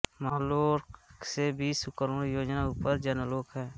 महर्लोक से बीस करोड़ योजन ऊपर जनलोक है